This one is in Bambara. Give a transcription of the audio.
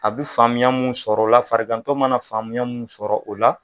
A bɛ faamuya min sɔrɔ o la, fariantɔ mana faamuya min sɔrɔ o la.